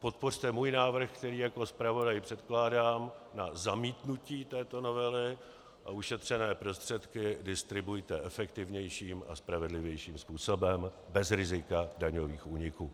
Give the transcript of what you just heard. podpořte můj návrh, který jako zpravodaj předkládám, na zamítnutí této novely a ušetřené prostředky distribuujte efektivnějším a spravedlivějším způsobem bez rizika daňových úniků.